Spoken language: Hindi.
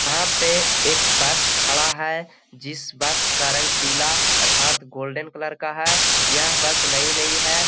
यहाँ पे एक बस खड़ा है। जिस बस का रंग पीला अर्थात गोल्डन कलर का है। यह बस नयी-नयी है।